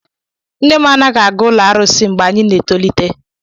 Nne m anaghị aga ụlọ arụsị mgbe anyị na-etolite.